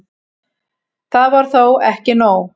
Það var þó ekki nóg.